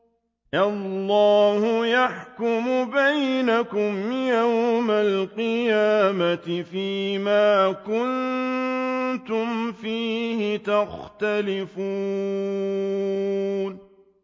اللَّهُ يَحْكُمُ بَيْنَكُمْ يَوْمَ الْقِيَامَةِ فِيمَا كُنتُمْ فِيهِ تَخْتَلِفُونَ